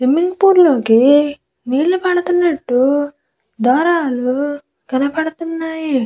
Swimming pool లోకి నీళ్లు పడుతున్నట్టు దారాలు కనపడుతున్నాయి.